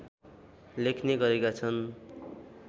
लेख्ने गरेका छन्